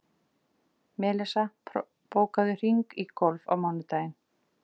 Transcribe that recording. Melissa, bókaðu hring í golf á mánudaginn.